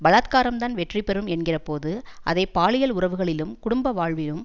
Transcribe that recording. பலாத்காரம்தான் வெற்றிபெறும் என்கிறபோது அதை பாலியல் உறவுகளிலும் குடும்ப வாழ்விலும்